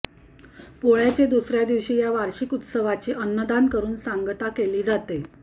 पोळ्याचे दुसऱ्या दिवशी या वार्षीक उत्सवाची अन्नदान करून सांगता केली जाते